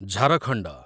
Jharkhand